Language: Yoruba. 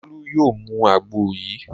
Bólú yóò mu àgbo yìí.